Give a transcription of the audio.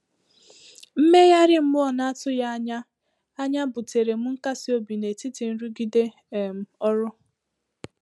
Mmegharị mmụọ n’atụghị anya anya butèrè m nkasi obi n’etiti nrụgide um ọrụ.